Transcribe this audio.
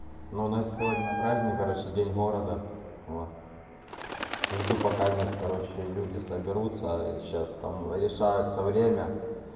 но у нас сегодня праздник короче день города в жду пока короче люди соберутся сейчас там решаются время